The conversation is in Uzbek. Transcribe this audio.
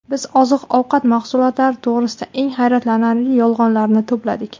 Biz oziq-ovqat mahsulotlari to‘g‘risida eng hayratlanarli yolg‘onlarni to‘pladik.